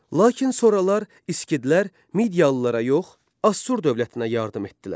Lakin sonralar İskidlər Midiyalılara yox, Assur dövlətinə yardım etdilər.